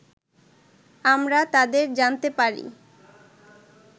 আমরা তাদের জানতে পারি